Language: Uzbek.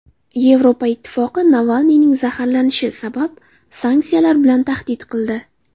Yevropa Ittifoqi Navalniyning zaharlanishi sabab sanksiyalar bilan tahdid qildi.